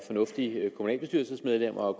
fornuftige kommunalbestyrelsesmedlemmer og